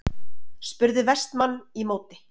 spurði Vestmann í móti.